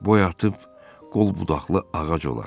Boy atıb qol budaqlı ağac olar.